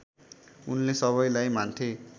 उनले सबैलाई मान्थे